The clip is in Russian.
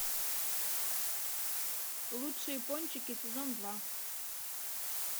лучшие пончики сезон два